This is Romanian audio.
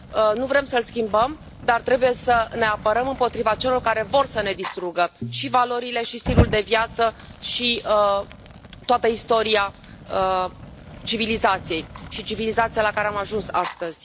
nu vrem să l schimbăm, dar trebuie să ne apărăm împotriva celor care vor să ne distrugă și valorile și stilul de viață și toată istoria civilizației și civilizația la care am ajuns astăzi.